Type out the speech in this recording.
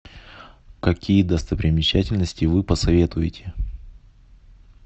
какие достопримечательности вы посоветуете